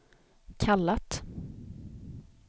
kallat